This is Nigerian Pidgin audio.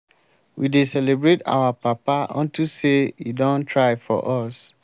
we dey celebrate our papa unto say e don try for us